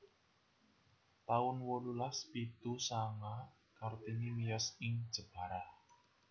taun wolulas pitu sanga Kartini miyos ing Jepara